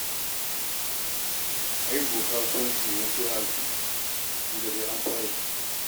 Ai kuwa kasuwanci yanzu sai a hankali tun da dai an fara shuka.